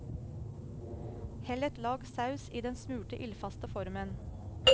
Hell et lag saus i den smurte ildfaste formen.